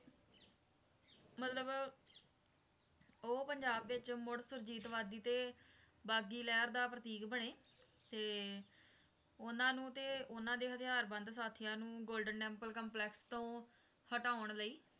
ਮਤਲਬ ਉਹ ਪੰਜਾਬ ਵਿਚ ਮੁੜ ਸੁਰਜੀਤ ਵਾਦੀ ਤੇ ਬਾਗੀ ਲਹਿਰ ਦਾ ਪ੍ਰਤੀਕ ਬਣੇ ਤੇ ਉਨ੍ਹਾਂ ਨੂੰ ਤੇ ਉਨ੍ਹਾਂ ਦੇ ਹਥਿਆਰ ਬੰਦ ਸਾਥੀਆਂ ਨੂੰ ਗੋਲਡਨ ਟੈਂਪਲ ਕੰਪਲੈਕਸ ਤੋਂ ਹਟਾਉਣ ਲਈ